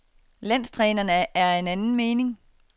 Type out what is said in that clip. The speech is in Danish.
Landstræneren er af en anden mening.